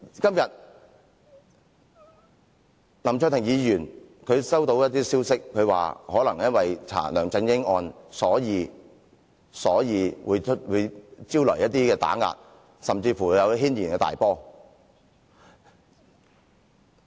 今天，林卓廷議員收到一些消息，指可能因為調查梁振英案件，所以會招徠一些打壓，甚至引起軒然大波。